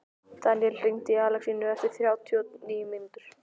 Daníel, hringdu í Alexínu eftir þrjátíu og níu mínútur.